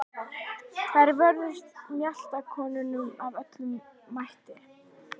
Þær vörðust mjaltakonunum af öllum mætti.